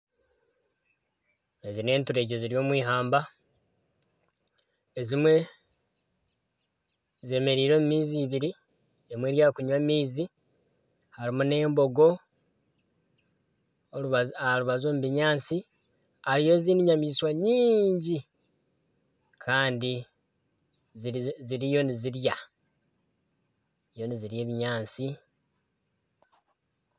Ezi nenturegye ziri omw'eihamba ezimwe zemereire omu maizi ibiri, emwe eri ahakunywa amaizi harimu n'embogo aha rubaju omu binyaatsi hariyo ezindi enyamaishwa nyingi kandi ziriyo nizirya ebinyaatsi.